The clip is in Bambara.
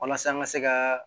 Walasa an ka se ka